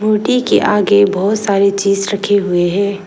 मूर्ति के आगे बहोत सारे चीज रखे हुए हैं।